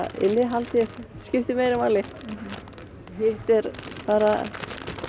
innihaldið skiptir meira máli hitt er bara